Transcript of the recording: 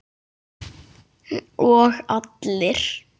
Og allir?